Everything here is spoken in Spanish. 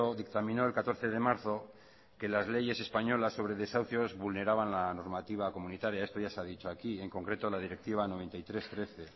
dictaminó el catorce de marzo que las leyes españolas sobre desahucios vulneraban la normativa comunitaria esto ya se ha dicho aquí en concreto la directiva noventa y tres barra trece